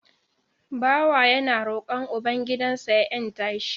Bawa yana roƙon uban gidan sa ya 'yanta shi